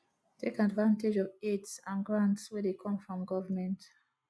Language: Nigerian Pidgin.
take advantage of aids and grants wey dey come from government